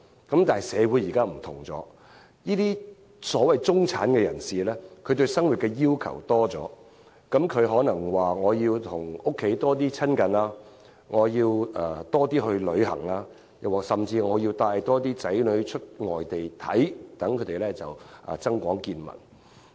但是，如今社會不同了，所謂的中產人士對生活要求多了，他們可能期望多與家人親近、多出外旅行，甚至多帶子女到外地遊歷，增廣見聞。